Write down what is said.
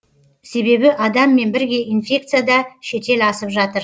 себебі адаммен бірге инфекция да шетел асып жатыр